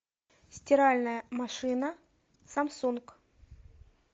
стиральная машина самсунг